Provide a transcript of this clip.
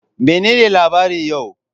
Menene labarin yau?